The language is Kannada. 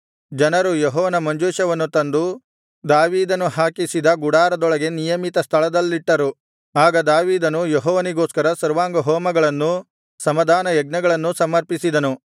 ಜನರು ಯೆಹೋವನ ಮಂಜೂಷವನ್ನು ತಂದು ದಾವೀದನು ಹಾಕಿಸಿದ ಗುಡಾರದೊಳಗೆ ನಿಯಮಿತ ಸ್ಥಳದಲ್ಲಿಟ್ಟರು ಆಗ ದಾವೀದನು ಯೆಹೋವನಿಗೋಸ್ಕರ ಸರ್ವಾಂಗಹೋಮಗಳನ್ನು ಸಮಾಧಾನಯಜ್ಞಗಳನ್ನೂ ಸಮರ್ಪಿಸಿದನು